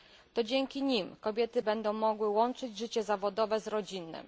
To dzięki nim kobiety będą mogły łączyć życie zawodowe z rodzinnym.